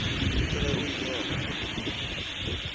ke ge o ile wa